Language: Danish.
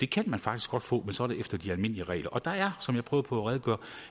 kan man faktisk godt få men så er det efter de almindelige regler og der er som jeg prøvede på at redegøre